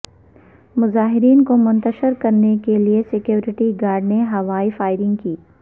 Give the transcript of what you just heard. مظاہرین کو منشتر کرنے کے لیے سیکورٹی گارڈز نے ہوائی فائرنگ کی